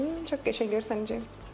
Çox qəşəng görsənəcək.